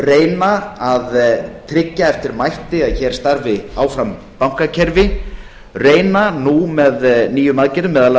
reyna að tryggja eftir mætti að hér starfi áfram bankakerfi reyna nú með nýjum aðgerðum meðal